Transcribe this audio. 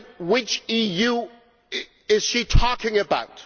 Which EU is she talking about?